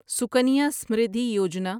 Sukanya Samriddhi Yojana